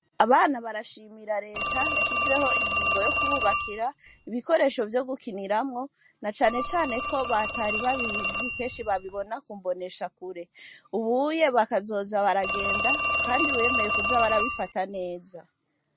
Abana barashimira leta yashizeho ingingo yo kububakira ibikoresho vyo gukiniramwo na canecane ko batari babizi kenshi babibona kumbonesha kure ubuye bakazoza baragenda, kandi wemeye kuza barabifata neza.